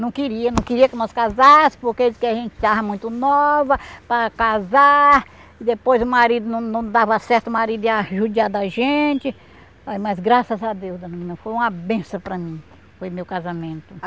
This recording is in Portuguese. Não queria, não queria que nós casássemos porque ele disse que a gente estava muito nova para casar, depois o marido não não dava certo, o marido ia judiar da gente, ai mas graças a Deus, ai menina, foi uma benção para mim, foi meu casamento.